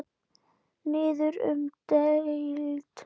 Niður um deild